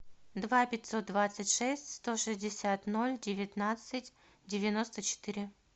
два пятьсот двадцать шесть сто шестьдесят ноль девятнадцать девяносто четыре